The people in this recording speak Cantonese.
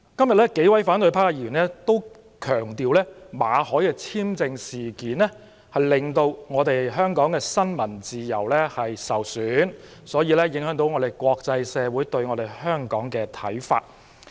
數位反對派議員均強調，馬凱事件令香港新聞自由受損，因而影響國際社會對香港的看法。